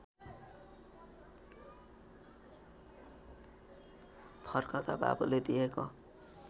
फर्कँदा बाबुले दिएको